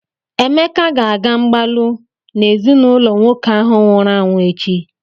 Emeka ga-aga mgbalụ na ezinụlọ nwoke ahụ nwụrụ anwụ echi.